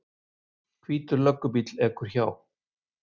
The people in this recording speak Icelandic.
Hvítur löggubíll ekur hjá.